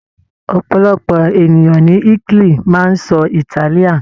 Ọ̀pọ̀lọpọ̀ ènìyàn ní Italy máa ń sọ Italian.